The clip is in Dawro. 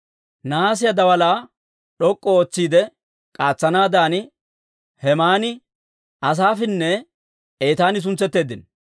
Nahaasiyaa daalaa d'ok'k'u ootsiide k'aatsanaadan Hemaani, Asaafinne Etaani suntsetteeddino.